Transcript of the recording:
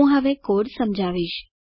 હું હવે કોડ સમજાવીશ